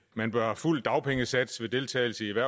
man bør have fuld dagpengesats ved deltagelse i